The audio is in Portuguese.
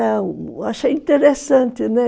Achei interessante, né?